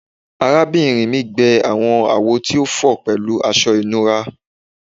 Arabinrin mi gbẹ awọn awo ti o fọ pẹlu aṣọ ìnura